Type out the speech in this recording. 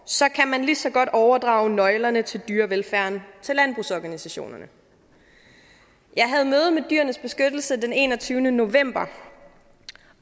så kan man lige så godt overdrage nøglerne til dyrevelfærden til landbrugsorganisationerne jeg havde møde med dyrenes beskyttelse den enogtyvende november